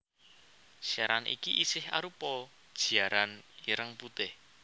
Siaran iki isih arupa giaran ireng putih